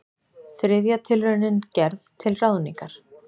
Þriðja tilraunin gerð til ráðningar